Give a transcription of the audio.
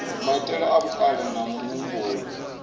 maitele a vhukale na muhumbulo